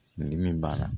Ni min b'a la